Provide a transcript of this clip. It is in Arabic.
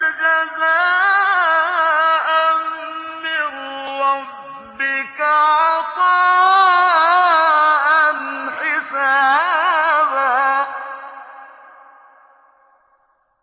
جَزَاءً مِّن رَّبِّكَ عَطَاءً حِسَابًا